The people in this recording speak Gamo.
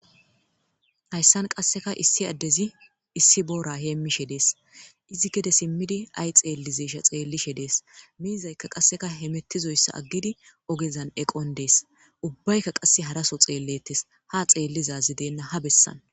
Hayssan qasseka issi addezi issi boora heemmishe dees izi gede simmidi ay xeellizesha xeellishe dees miizayka qasseka hemettizoyssa aggidi ogezan eqon dees ubbaykka qasse haraso xeellettes ha xeellizazi deenna ha bessan.